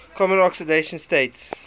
common oxidation states